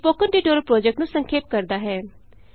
ਇਹ spoken tutorial project ਨੂੰ ਸੰਖੇਪ ਕਰਦਾ ਹੈ